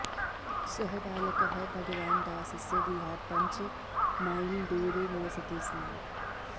सः बालकः भगवानदासस्य गृहात् पञ्च माईल् दूरे निवसति स्म